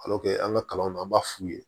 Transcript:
an ka kalanw na an b'a f'u ye